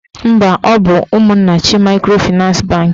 Mba, ọ bụ Ụmụnnachi maịkrofịnans bankị